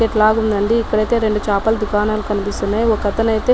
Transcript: ఎట్లాగో ఉందండీ ఇక్కడైతే రెండు చేపలు ధుకనాలు కనిపిస్తున్నాయి ఒకటనైతే --